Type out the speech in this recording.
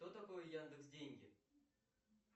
что такое яндекс деньги